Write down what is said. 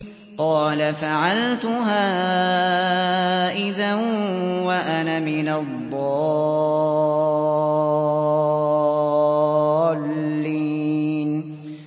قَالَ فَعَلْتُهَا إِذًا وَأَنَا مِنَ الضَّالِّينَ